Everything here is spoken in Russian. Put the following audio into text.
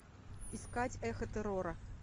искать эхо террора